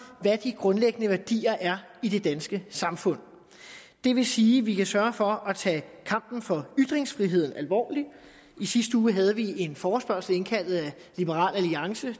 hvad de grundlæggende værdier er i det danske samfund det vil sige at vi kan sørge for at tage kampen for ytringsfrihed alvorlig i sidste uge havde vi en forespørgsel indkaldt af liberal alliance